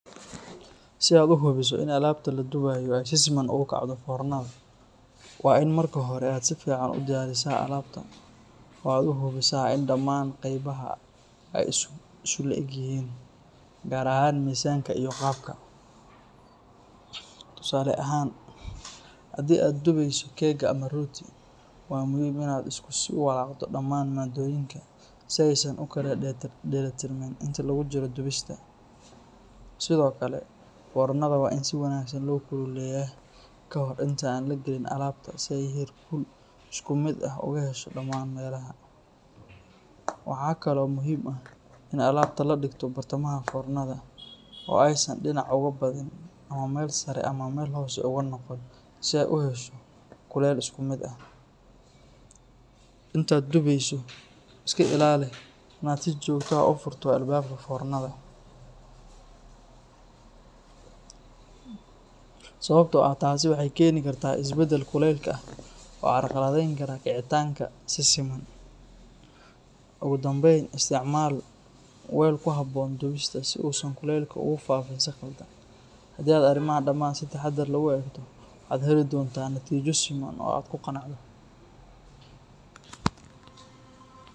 Si aad uhubiso i alabta la duwayo si siman ogukacdo fornada, wa in marka hore aad sifican udadisa alabta oo aad uhubisa in daman gebaha ay iskulaegyihin, gaar ahan misanka iyo gaabka, tusale ahan hadi aad duwayso cake ama rooti, wa muxiim inad iskuwalagdo daman madoyinka is ay san ukalaya dirtiin inta lagujiro duwista, Sidhokale foornada wa in si wanagsan laokululeya kahorta inta aan wali logalinin alabta si aynu iskumid ah ogahesho daman melaha, waxa kalo muxiim ah in alabta ladigto bartamaha fornada oo ay san dinac ogabadan, ama meel sare ama meel hosi unogon, si ay uhesho kulel iskumid ah, int duweyso iskailali inad si jogta ah ufurto albabka fornada, sawabto ah taasi waxay keneysa isbadalka walka oo cagawadeykara kicitanka si siman, ogudambeyn isticmal weel kuhabon duwista si aynu si qaldan, hadad arimahan daman si tahadar leh , waxad heli donta natijo fican oo aad kuganacdo.